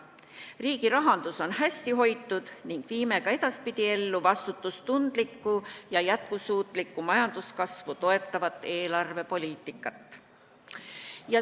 Riigi rahandus on hästi hoitud ning viime ka edaspidi ellu vastutustundlikku ja jätkusuutlikku majanduskasvu toetavat eelarvepoliitikat.